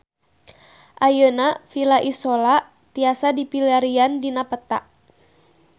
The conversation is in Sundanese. Ayeuna Villa Isola tiasa dipilarian dina peta